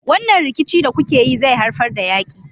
Wannan rikici da kuke yi zai haifar da yaki.